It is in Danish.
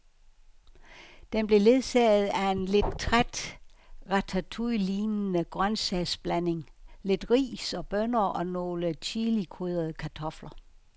Den blev ledsaget af en lidt træt ratatouillelignende grøntsagsblanding, lidt ris og bønner og nogle chilikrydrede kartofler.